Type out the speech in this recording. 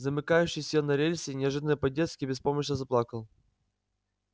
замыкающий сел на рельсы и неожиданно по-детски беспомощно заплакал